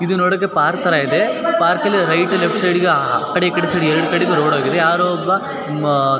ಇದು ನೋಡೋಕೆ ಪಾರ್ಕ್ ತರ ಇದೆ ಪಾರ್ಕ್ ಅಲ್ಲಿ ಹೈಟ್ ಲೆಫ್ಟ್ ಸೈಡಿಗೆ ಆ ಕಡೆ ಈ ಕಡೆ ಸೇರಿ ಎರಡ್ ಕಡೆಗೂ ರೋಡ್ ಹೋಗಿದೆ ಯಾರೋ ಒಬ್ಬ --